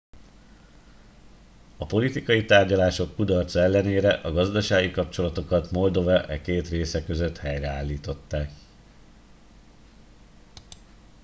a politikai tárgyalások kudarca ellenére a gazdasági kapcsolatokat moldova e két része között helyreállították